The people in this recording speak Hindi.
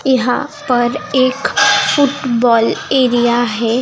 यहां पर एक फुटबॉल एरिया है।